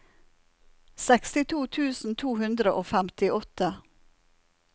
sekstito tusen to hundre og femtiåtte